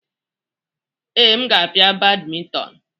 Ee, m ga-apia badminton.